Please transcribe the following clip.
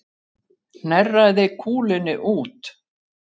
Hnerraði kúlunni út